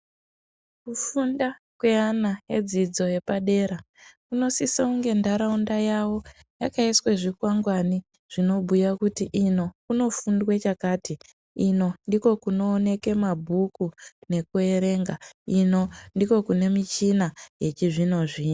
Kufunda kwevana vedzidzo yepadera kunosisa kuti ndaraunda yawo yakaiswa zvikwangwari zvinobhuya kuti ino kunofundwa chakati inondokunooneka mabhuku yekuverenga uku ndokunooneka michina yechizvino zvino.